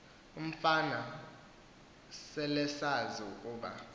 umfana selesazi ukuba